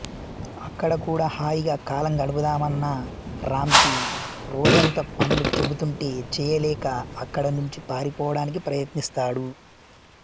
అక్కడ కూడా హాయిగా కాలం గడుపుదామన్న రాం కి రోజంతా పనులు చెబుతుంటే చేయలేక అక్కడ నుంచి పారిపోవడానికి ప్రయత్నిస్తాడు